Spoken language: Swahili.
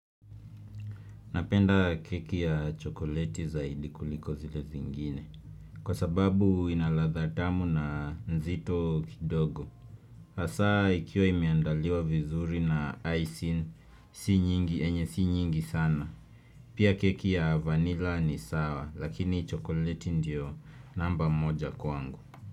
Napenda keki ya chokoleti zaidi kuliko zile zingine. Kwa sababu ina ladha tamu na nzito kidogo. Hasa ikiwa imeandaliwa vizuri na icing si nyingi, enye si nyingi sana Pia keki ya vanilla ni sawa, lakini chokoleti ndio namba moja kwangu.